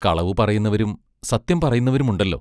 കളവു പറയുന്നവരും സത്യം പറയുന്നവരുമുണ്ടല്ലോ.